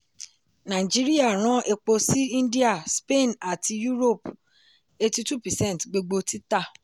nàìjíríà rán epo sí india spain àti europe eighty-two percent gbogbo títà.